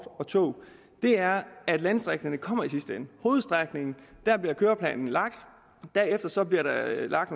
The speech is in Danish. tog er at landdistrikterne kommer i sidste ende hovedstrækningen bliver køreplanen lagt derefter bliver der lagt